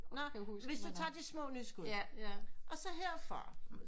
Hvis du tager de små nye skud og så her for